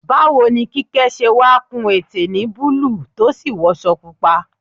Báwo ni Kíkẹ́ ṣe wá kun ète ní búlúù tó sì wọṣọ pupa?